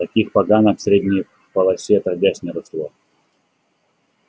таких поганок в средней полосе отродясь не росло